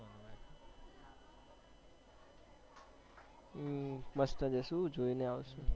હમ મસ્ત જાશું જોઈ ને આવશું